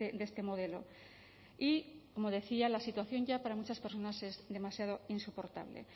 de este modelo y como decía la situación ya para muchas personas es demasiado insoportable